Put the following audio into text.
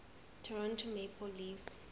toronto maple leafs